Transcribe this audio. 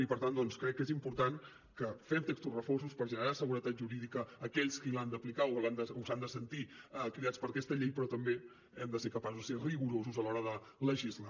i per tant doncs crec que és important que fem textos refosos per generar seguretat jurídica a aquells qui l’han d’aplicar o s’han de sentir cridats per aquesta llei però també hem de ser capaços de ser rigorosos a l’hora de legislar